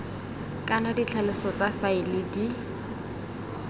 kana ditlhaloso tsa faele di